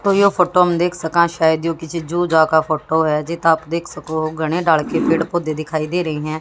तो यो फोटो में देख सका शायद यह किसी जू जां का फोटो है तो आप देख सको घने ताड़ के पेड़ दिखाई दे रही हैं।